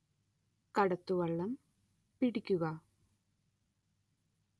കടത്തുവള്ളം പിടിക്കുക